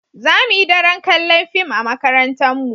Za mu yi daren kalla'n fim a'makarantan mu.